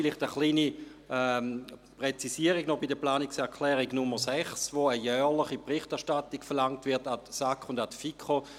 Vielleicht eine kleine Präzisierung zur Planungserklärung Nr. 6, mit welcher eine jährliche Berichterstattung zuhanden von SAK und FiKo verlangt wird: